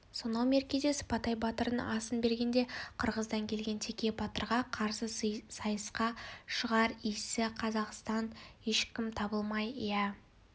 сонау меркеде сыпатай батырдың асын бергенде қырғыздан келген теке батырға қарсы сайысқа шығар исі қазақтан ешкім табылмай иә